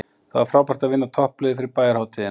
Það var frábært að vinna toppliðið fyrir bæjarhátíðina.